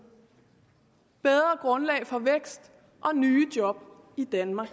bedre grundlag for vækst og nye job i danmark